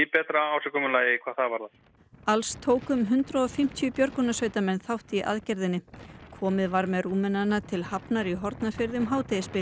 betra ásigkomulagi hvað það varðar alls tóku um hundrað og fimmtíu björgunarsveitarmenn þátt í aðgerðinni komið var með Rúmenana til Hafnar í Hornafirði um hádegisbil